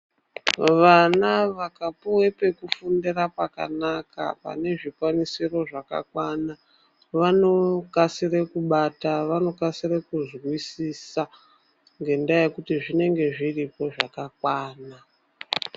Vana vakapuwa pekufundira pakanaka, pane zvikwanisiro zvakakwana vanokasire kubata kuzwisisa ngendaa yekuti zvinenge zviripo zvakakwana.